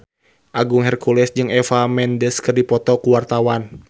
Agung Hercules jeung Eva Mendes keur dipoto ku wartawan